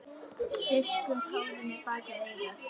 Strýkur hárinu bak við eyrað.